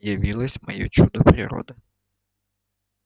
явилось моё чудо природы